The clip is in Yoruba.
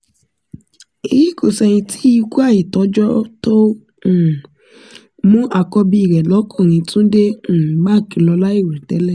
èyí kò ṣẹ̀yìn tí ikú àìtọ́jọ́ tó um mú àkọ́bí rẹ̀ lọ́kùnrin túnde um mark lọ láì rò tẹ́lẹ̀